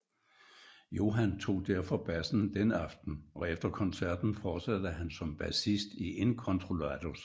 Johan tog derfor bassen den aften og efter koncerten fortsatte han som bassist i Incontrollados